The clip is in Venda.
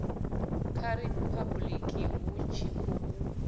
kha riphabuḽiki hu tshi khou